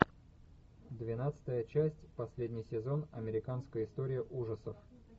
двенадцатая часть последний сезон американская история ужасов